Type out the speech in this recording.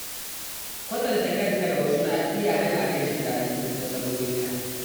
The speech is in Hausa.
Kwatanta kanka da wasu na iya hana ka jin daɗin nasarorin ka.